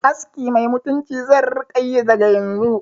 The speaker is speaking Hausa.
Aski mai mutunci zan rika yi daga yanzu